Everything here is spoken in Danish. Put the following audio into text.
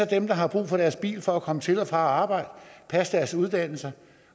dem der har brug for deres bil for at komme til og fra arbejde passe deres uddannelse